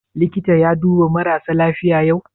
Likita ya duba marasa lafiya yau?